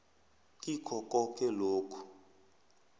kikho koke lokhu